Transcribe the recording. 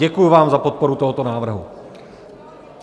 Děkuji vám za podporu tohoto návrhu.